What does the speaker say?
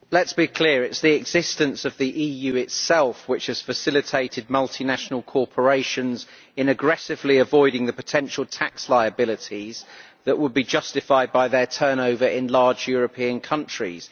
Madam President, let us be clear, it is the existence of the EU itself which has facilitated multinational corporations in aggressively avoiding the potential tax liabilities that would be justified by their turnover in large European countries.